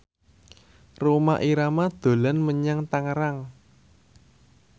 Rhoma Irama dolan menyang Tangerang